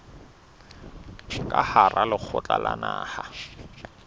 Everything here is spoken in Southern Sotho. ka hara lekgotla la naha